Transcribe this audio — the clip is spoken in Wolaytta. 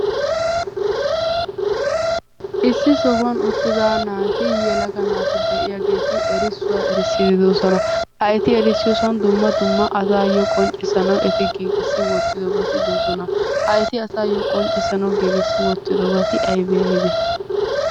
Issi sohuwan uttida naati yelaga naati de"iyaageeti erissuwaa erissiiddi de'oosona. Ha eti erissiyosan dumma dumma asaayo qonccissanawu eti giigissi wottidobati de'oosona. Ha eti asaayoo qonccissanawu giigissi wottidobati aybee aybee?